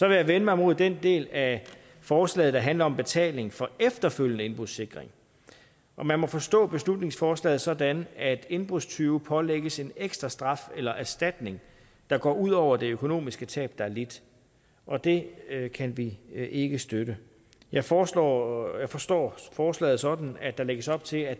jeg vende mig mod den del af forslaget der handler om betaling for efterfølgende indbrudssikring man må forstå beslutningsforslaget sådan at indbrudstyve pålægges en ekstra straf eller erstatning der går ud over det økonomiske tab der er lidt og det kan vi ikke støtte jeg forstår jeg forstår forslaget sådan at der lægges op til at